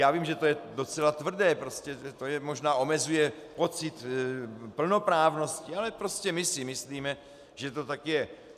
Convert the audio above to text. Já vím, že to je docela tvrdé, možná to omezuje pocit plnoprávnosti, ale prostě my si myslíme, že to tak je.